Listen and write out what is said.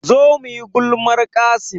Zo muyi gulmar Qassim